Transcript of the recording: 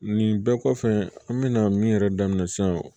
Nin bɛɛ kɔfɛ an bɛna min yɛrɛ daminɛ sisan